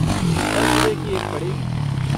दस रुपए की एक पड़ेगी।